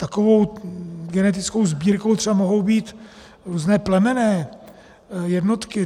Takovou genetickou sbírkou třeba mohou být různé plemenné jednotky.